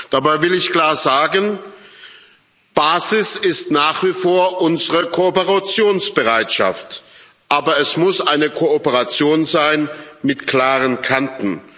Dabei will ich klar sagen Basis ist nach wie vor unsere Kooperationsbereitschaft, aber es muss eine Kooperation sein mit klaren Kanten.